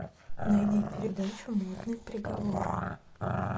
найди передачу модный приговор